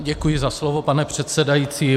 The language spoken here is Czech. Děkuji za slovo, pane předsedající.